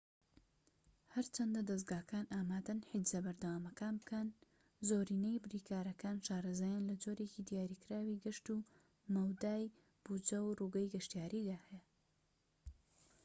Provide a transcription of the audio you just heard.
هەرچەندە دەزگاکان ئامادەن حیجزە بەردەوامەکان بکەن زۆرینەی بریکارەکان شارەزاییان لە جۆرێکی دیاریکراوی گەشت و مەودای بوجە و ڕووگەی گەشتیاریدا هەیە